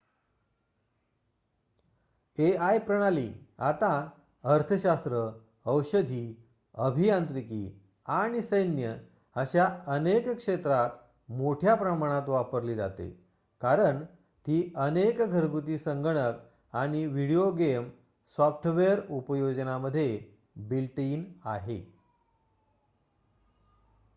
AI प्रणाली आता अर्थशास्त्र औषधी अभियांत्रिकी आणि सैन्य अशा अनेक क्षेत्रात मोठ्या प्रमाणात वापरली जाते कारण ती अनेक घरगुती संगणक आणि व्हिडीओ गेम सॉफ्टवेअर उपयोजनामध्ये बिल्ट इन आहे